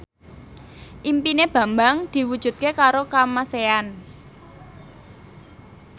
impine Bambang diwujudke karo Kamasean